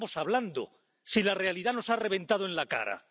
qué estamos hablando, si la realidad nos ha reventado en la cara?